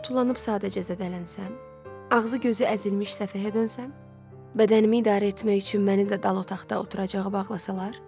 Tullanıb sadəcə zədələnsəm, ağzı gözü əzilmiş səfehə dönsəm, bədənimi idarə etmək üçün məni də dal otaqda oturacağa bağlasalar?